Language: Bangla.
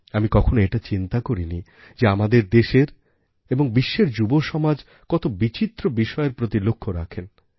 আমি কখনও এটা চিন্তা করিনি যে আমাদের দেশের এবং বিশ্বের যুবসমাজ কত বিচিত্র বিষয়ের প্রতি লক্ষ্য রাখেন